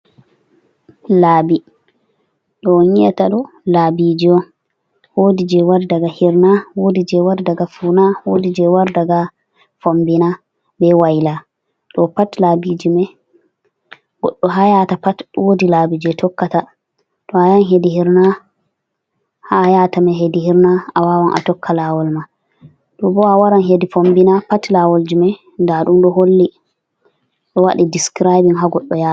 Laɓi ɗo on yiata ɗo labiji on, wodi je wari daga hirna, wodi je wari daga funa, wodi je wari daga fombina, be waila, ɗo pat labiji me goɗɗo ha yata pat wodi labi je tokka ta, to ayahan hedi hirna ha ayata mai hedi hirna a wawan a tokka lawol mai, to bo awawan ran hedi fombina pat lawol jime nda ɗum ɗo holli awaɗan discraibin ha goɗɗo yata.